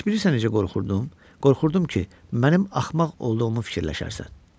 Heç bilirsən necə qorxurdum, qorxurdum ki, mənim axmaq olduğumu fikirləşərsən?